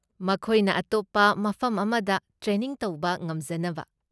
ꯃꯈꯣꯏꯅ ꯑꯇꯣꯞꯄ ꯃꯐꯝ ꯑꯃꯗ ꯇ꯭ꯔꯦꯅꯤꯡ ꯇꯧꯕ ꯉꯝꯖꯅꯕ꯫